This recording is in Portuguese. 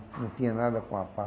Não tinha nada com a Pá.